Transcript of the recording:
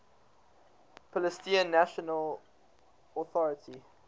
palestinian national authority